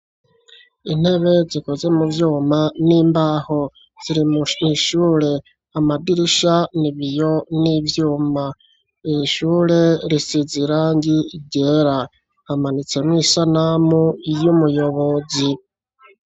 Intebe zikoze mu vyuma n'imbaho ziri mu ishure amadirisha n'ibiyo n'ivyuma ishure risize irangi ryera hamanitse mwo isanamu y'umuyobozi.